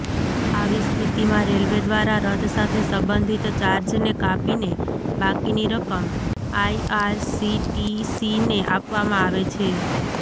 આવી સ્થિતિમાં રેલવે દ્વારા રદ સાથે સંબંધિત ચાર્જને કાપીને બાકીની રકમ આઈઆરસીટીસીને આપવામાં આવે છે